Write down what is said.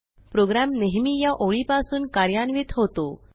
program नेहमी या ओळीपासून कार्यान्वित होतो